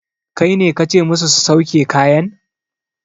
Kaine kace musu su sauke kayan?